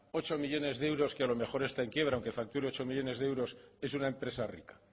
ocho millónes de euros que a lo mejor está en quiebra aunque facture ocho millónes de euros es una empresa rica